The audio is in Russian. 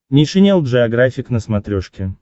нейшенел джеографик на смотрешке